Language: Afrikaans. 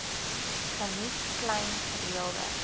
geniet klein gereelde